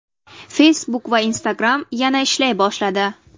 Facebook va Instagram yana ishlay boshladi.